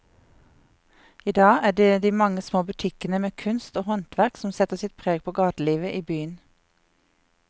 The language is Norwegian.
I dag er det de mange små butikkene med kunst og håndverk som setter sitt preg på gatelivet i byen.